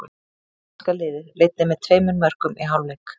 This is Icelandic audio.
Íslenska liðið leiddi með tveimur mörkum í hálfleik.